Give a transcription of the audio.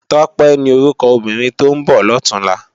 Tope ni órúkò óbìrín tó n bò lòtúnlâ